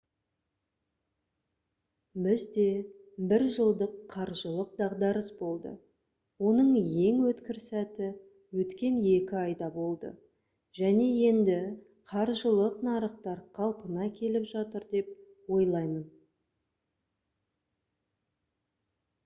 бізде бір жылдық қаржылық дағдарыс болды оның ең өткір сәті өткен екі айда болды және енді қаржылық нарықтар қалпына келіп жатыр деп ойлаймын»